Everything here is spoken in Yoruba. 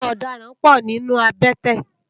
Awòn òdàrãn pò ninú àbètè